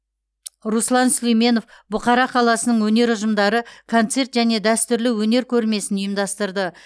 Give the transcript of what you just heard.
руслан сүлейменов бұқара қаласының өнер ұжымдары концерт және дәстүрлі өнер көрмесін ұйымдастырды